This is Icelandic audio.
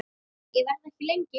Ég verð ekki lengi